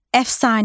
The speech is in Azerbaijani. Əfsanə.